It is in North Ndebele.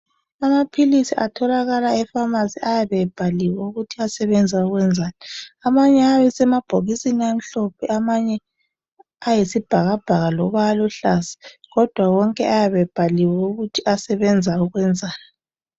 Amaphilisi atholakala e"pharmacy " ayabe ebhaliwe ukuthi asebenza ukwenzani. Amanye ayabe esemabhokisini amhlophe amanye ayabe eyisibhakabhaka loba aluhlaza kodwa wonke ayabe ebhaliwe ukuthi asebenza ukwenzani.